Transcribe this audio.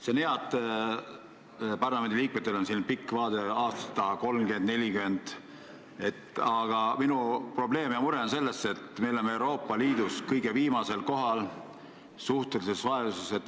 See on hea, et parlamendiliikmed vaatavad pikalt ette, 30–40 aasta taha, aga minu mure on selles, et me oleme Euroopa Liidus suhteliselt kõige vaesemad.